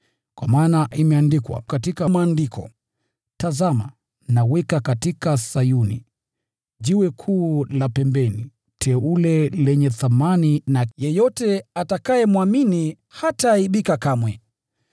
Kwa maana imeandikwa katika Maandiko: “Tazama, naweka katika Sayuni, jiwe la pembeni teule lenye thamani, na yeyote atakayemwamini hataaibika kamwe.”